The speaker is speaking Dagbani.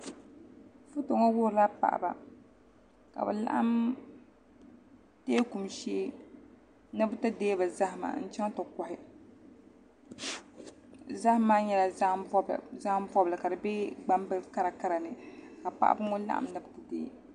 Foto ŋɔ wuhurila paɣaba ka bi laɣam teeku shee ni bi ti deei bi zahama n chɛŋ ti kohi zaham maa nyɛla zaham bobli ka di bɛ gbambihi karakara ni ka paɣaba ŋɔ laɣam na ni bi ti dei